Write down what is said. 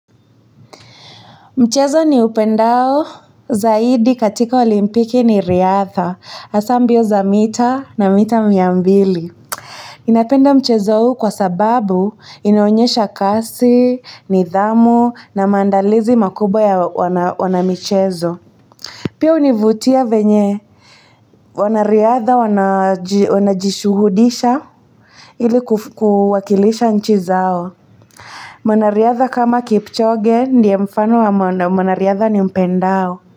Mchezo niupendao zaidi katika olimpiki ni riadha, hasa mbio za mita na mita mia mbili. Napenda mchezo huu kwa sababu inaonyesha kasi, nidhamu na maandalizi makubwa ya wanamichezo. Pia hunivutia venye. Wanariadha wanajishuhudisha ili kuwakilisha nchi zao. Mwanariadha kama kipchoge ndio mfano wa mwanariadha nimpendao.